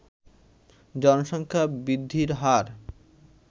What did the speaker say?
জনসংখ্যা বৃদ্ধির হার